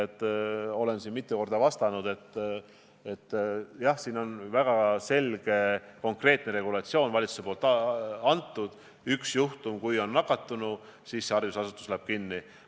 Olen mitu korda vastanud, et jah, siin on valitsus andnud väga selge ja konkreetse regulatsiooni: kui on kas või üks nakatanu, siis see haridusasutus läheb kinni.